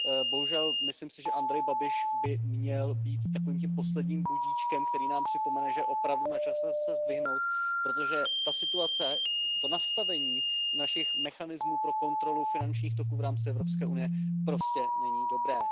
Bohužel myslím si, že Andrej Babiš by měl být takovým tím posledním budíčkem, který nám připomene, že je opravdu načase se zdvihnout, protože ta situace, to nastavení našich mechanismů pro kontrolu finančních toků v rámci Evropské unie prostě není dobré.